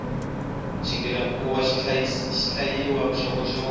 xigila mukhuva xihlayayisa vuxokoxoko